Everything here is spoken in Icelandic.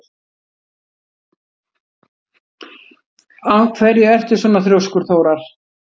Af hverju ertu svona þrjóskur, Þórar?